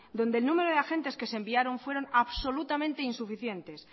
donde el número de agentes que se enviaron fueron absolutamente insuficientes